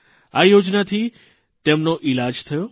આ યોજનાથી તેમનો ઇલાજ થયો